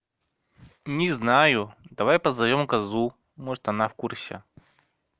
не знаю давай позовём козу может она в курсе